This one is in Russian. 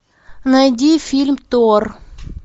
найди фильм тор